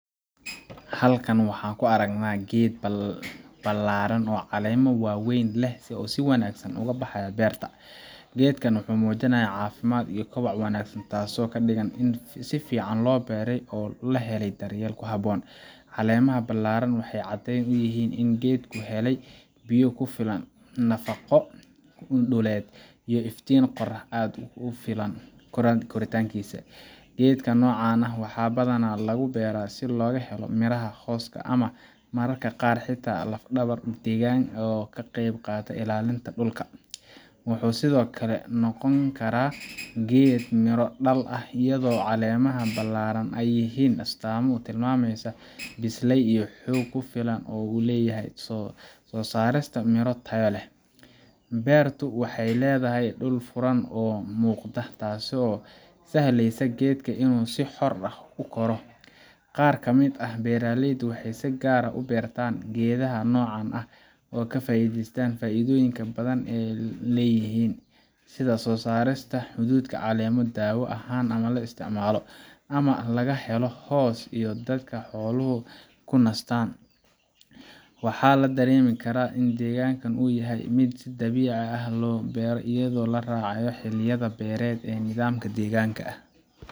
Halkan waxaan ku aragnaa geed ballaadhan oo caleemo waaweyn leh oo si wanaagsan uga baxaya beerta. Geedkan wuxuu muujinayaa caafimaad iyo koboc wanaagsan, taasoo ka dhigan in si fiican loo beeray oo uu helay daryeel habboon. Caleemaha ballaadhan waxay caddeyn u yihiin in geedku helayo biyo ku filan, nafaqo dhuleed, iyo iftiin qorrax ah oo ku filan koritaankiisa. Geedaha noocan ah waxaa badanaa lagu beeraa si loogu helo miraha, hooska, ama mararka qaar xitaa lafdhabar deegaanka ah oo ka qeyb qaata ilaalinta dhulka. Wuxuu sidoo kale noqon karaa geed miro dhal ah, iyadoo caleemaha ballaadhan ay yihiin astaamo tilmaamaya biseyl iyo xoog ku filan oo uu u leeyahay soo saarista miro tayo leh. Beertu waxay leedahay dhul furan oo muuqda, taasoo u sahlaysa geedka inuu si xor ah u koro. Qaar ka mid ah beeraleyda waxay si gaar ah u beertaan geedaha noocan ah si ay uga faa’iideystaan faa’iidooyinka badan ee ay leeyihiin sida soo saarista hadhuudh, caleemo daawo ahaan loo isticmaalo, ama in laga helo hoos ay dadka iyo xooluhu ku nastaan. Waxaa la dareemi karaa in deegaanka uu yahay mid si dabiici ah loogu beero, iyadoo la raacayo xilliyada beereed iyo nidaamka deegaanka ah